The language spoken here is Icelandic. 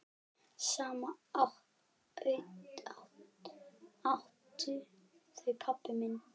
Saman áttu þau pabba minn.